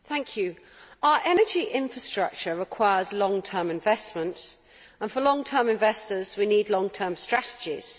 Mr President, our energy infrastructure requires long term investment, and for long term investors we need long term strategies.